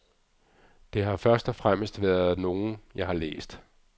Det har først og fremmest været nogen, jeg har læst.